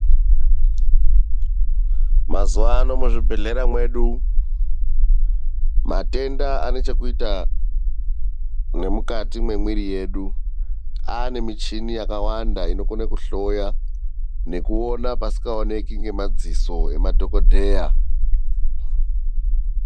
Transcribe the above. Mazuwano muzvibhedhlera mwedu, matenda anechekuita nemukati memwiri yedu anemichini yakawanda inokone kuhloya nekuona pasingaoneki ngemaziso emadhokodheya.